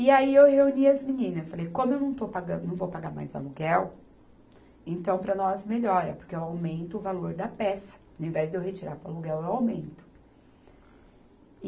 E aí, eu reuni as meninas, falei, como eu não estou pagan, não vou pagar mais aluguel, então, para nós melhora, porque eu aumento o valor da peça, ao invés de eu retirar para o aluguel, eu aumento.